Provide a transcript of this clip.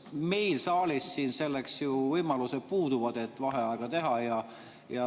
Meil siin saalis ju puuduvad võimalused selleks, et vaheaega teha.